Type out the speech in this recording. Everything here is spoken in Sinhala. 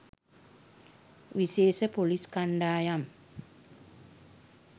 විශේෂ පොලිස්‌ කණ්‌ඩායම්